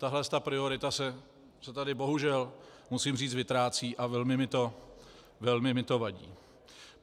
Tahle priorita se tady bohužel, musím říct, vytrácí a velmi mně to vadí.